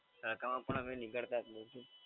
તડકામાં પણ અમે નીકળતા જ નથી.